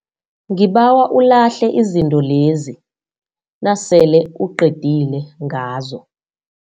Ngibawa ulahle izinto lezi nasele uqedile ngazo.